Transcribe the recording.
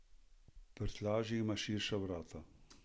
Prtljažnik ima širša vrata.